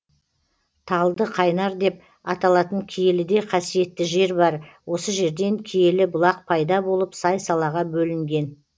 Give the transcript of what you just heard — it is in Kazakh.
талды қайнар деп аталатын киеліде қасиетті жер бар осы жерден киелі бұлақ пайда болып сай салаға бөлінген